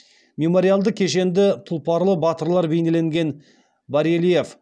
мемориалды кешенді тұлпарлы батырлар бейнеленген барельеф